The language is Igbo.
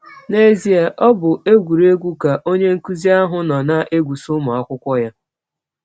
N’ezie, ọ bụ egwụregwụ ka onye nkụzi ahụ nọ na - egwụsa ụmụ akwụkwọ ya.